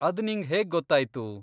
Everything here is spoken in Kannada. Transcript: ಅದ್ ನಿಂಗ್ ಹೇಗ್ ಗೊತ್ತಾಯ್ತು?